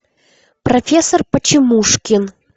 профессор почемушкин